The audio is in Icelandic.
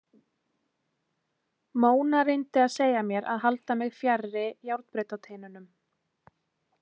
Mona reyndi að segja mér að halda mig fjarri járnbrautateinunum.